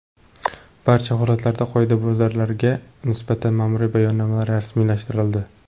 Barcha holatlarda qoidabuzarlarga nisbatan ma’muriy bayonnomalar rasmiylashtirildi.